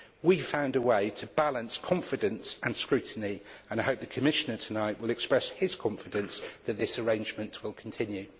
We found a way to balance confidence and scrutiny and I hope the Commissioner tonight will express his confidence that this arrangement will continue.